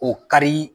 O kari